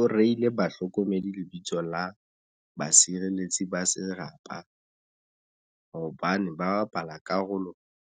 O reile bahlokomedi lebitso la basireletsi ba serapa hobane ba bapala karolo